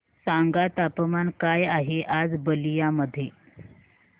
सांगा तापमान काय आहे आज बलिया मध्ये